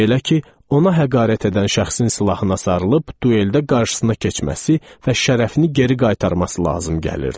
Belə ki, ona həqarət edən şəxsin silahına sarılıb, dueldə qarşısına keçməsi və şərəfini geri qaytarması lazım gəlirdi.